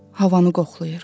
Havanı qoxlayır.